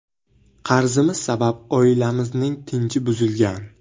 Qarzimiz sabab oilamizning tinchi buzilgan.